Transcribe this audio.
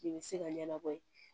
I bɛ se ka ɲɛnabɔ ye